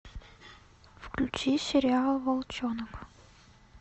включи сериал волчонок